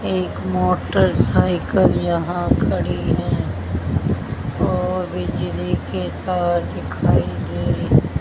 एक मोटरसाइकिल यहां खड़ी है और बिजली की तार दिखाई दे रही--